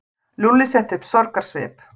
Lúlli setti upp sorgarsvip.